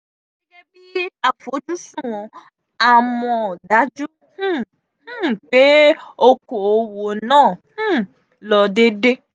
gẹ́gẹ́ bí àfojúsùn a mò dajú um um pé oko òwò náà um lọ déédé.